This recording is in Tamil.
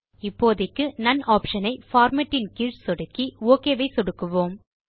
இப்போதைக்கு நோன் ஆப்ஷன் ஐ பார்மேட் கீழ் சொடுக்கி ஒக் ஐ சொடுக்குவோம்